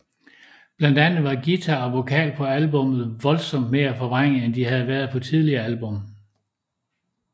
Blandt andet var guitar og vokal på albummet voldsomt mere forvrænget end de havde været på tidligere album